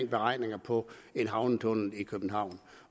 beregninger på en havnetunnel i københavn